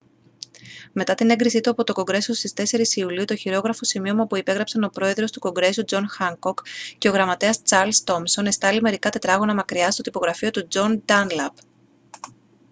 μετά την έγκριση του από το κογκρέσο στις 4 ιουλίου το χειρόγραφο σημείωμα που υπέγραψαν ο πρόεδρος του κογκρέσου τζον χάνκοκ και ο γραμματέας τσαρλς τόμσον εστάλη μερικά τετράγωνα μακριά στο τυπογραφείο του τζον ντάνλαπ